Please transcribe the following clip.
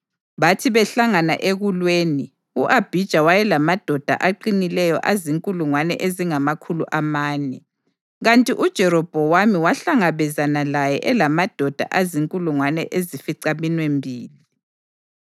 Bathi behlangana ekulweni, u-Abhija wayelamadoda aqinileyo azinkulungwane ezingamakhulu amane, kanti uJerobhowamu wahlangabezana laye elamadoda azinkulungwane ezificaminwembili.